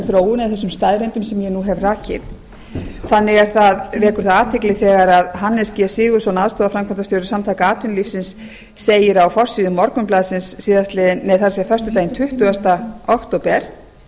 þróun eða þessum staðreyndum sem ég nú hef rakið þannig vekur það athygli þegar hannes g sigurðsson aðstoðarframkvæmdastjóri samtaka atvinnulífsins segir á forsíðu morgunblaðsins föstudaginn tuttugasta október